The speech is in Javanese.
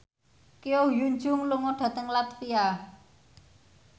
Ko Hyun Jung lunga dhateng latvia